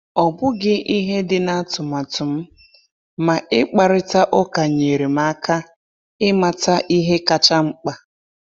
Ọ bụghị ihe dị na atụmatụ m, ma ịkparịta ụka nyeere m aka ịmata ihe kacha mkpa.